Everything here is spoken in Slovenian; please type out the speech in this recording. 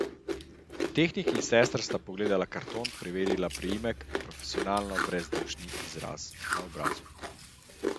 Tehnik in sestra sta pogledala karton, preverila priimek, profesionalno brezdušni izraz na obrazu.